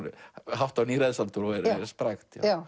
hátt á níræðisaldur og er sprækt já